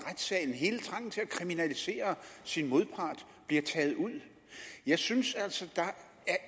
hele trangen til at kriminalisere sin modpart bliver taget ud jeg synes altså